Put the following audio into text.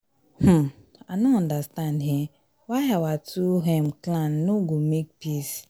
um i no understand um why our two um clan no go make peace